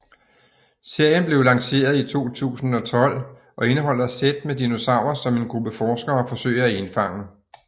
Serien blev lanceret i 2012 og indeholder sæt med dinosaurer som en gruppe forskere forsøger at indfange